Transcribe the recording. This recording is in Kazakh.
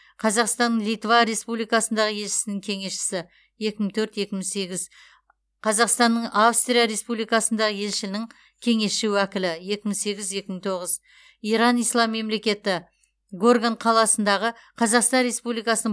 қазақстанның литва республикасындағы елшісінің кеңесшісі екі мың төрт екі мың сегіз қазақстанның австрия республикасындағы елшілігінің кеңесші уәкілі екі мың сегіз екі мың тоғыз иран ислам мемлекеті горган қаласындағы қазақстан республикасының